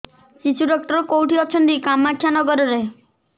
ଶିଶୁ ଡକ୍ଟର କୋଉଠି ଅଛନ୍ତି କାମାକ୍ଷାନଗରରେ